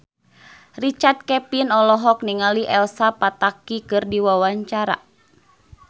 Richard Kevin olohok ningali Elsa Pataky keur diwawancara